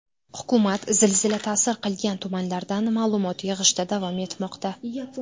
Hukumat zilzila ta’sir qilgan tumanlardan ma’lumot yig‘ishda davom etmoqda.